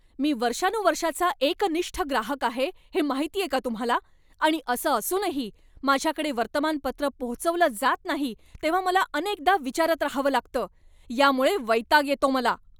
मी वर्षानुवर्षाचा एकनिष्ठ ग्राहक आहे हे माहितीये का तुम्हाला, आणि असं असूनही माझ्याकडे वर्तमानपत्र पोहोचवलं जात नाही तेव्हा मला अनेकदा विचारत राहावं लागतं. यामुळे वैताग येतो मला.